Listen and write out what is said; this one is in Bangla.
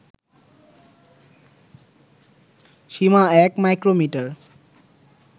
সীমা ১ মাইক্রোমিটার